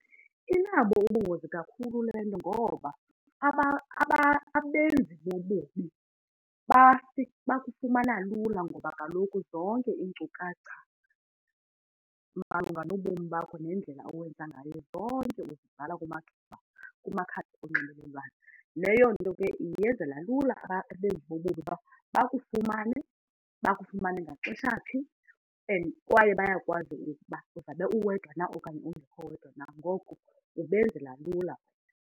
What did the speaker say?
Inabo ubungozi kakhulu le nto ngoba abenzi bobubi bakufumana lula ngoba kaloku zonke iinkcukacha malunga nobomi bakho nendlela owenza ngayo, zonke zibhalwa kumakhasi onxibelelwano. Leyo nto ke yenzela lula abenzi bobubi uba bakufumane, bakufumane ngaxesha phi and kwaye bayakwazi ukuba uzawube uwedwa na okanye ungekho wedwa, nangoko kubenzela lula.